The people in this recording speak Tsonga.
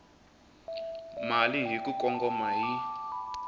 mali hi ku kongoma hi